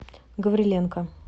гавриленко